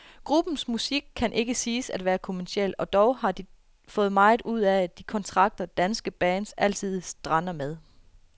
Gruppens musik kan ikke siges at være kommerciel, og dog har de fået meget ud af de kontrakter, danske bands altid strander med.